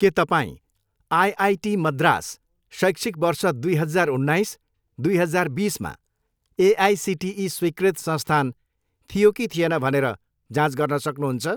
के तपाईँँ आइआइटी मद्रास शैक्षिक वर्ष दुई हजार उन्नाइस, दुई हजार बिसमा एआइसिटिई स्वीकृत संस्थान थियो कि थिएन भनेर जाँच गर्न सक्नुहुन्छ?